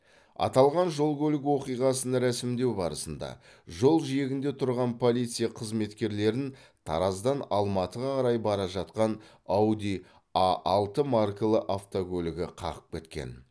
аталған жол көлік оқиғасын рәсімдеу барысында жол жиегінде тұрған полиция қызметкерлерін тараздан алматыға қарай бара жатқан ауди а алты маркалы автокөлігі қағып кеткен